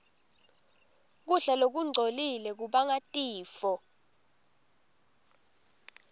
kudla lokungcolile kubangatifo